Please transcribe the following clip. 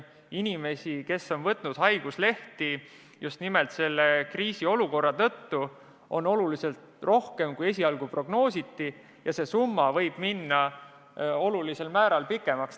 Inimesi, kes on võtnud haiguslehti just nimelt selle kriisiolukorra tõttu, on tunduvalt rohkem, kui esialgu prognoositi, seega summa võib minna olulisel määral suuremaks.